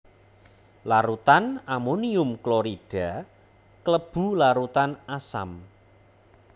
Larutan amonium klorida klebu larutan asam